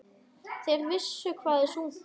Þeir vissu hvað þeir sungu.